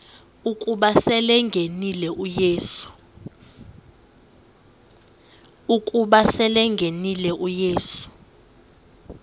ukuba selengenile uyesu